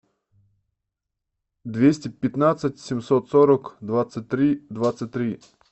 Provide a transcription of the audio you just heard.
двести пятнадцать семьсот сорок двадцать три двадцать три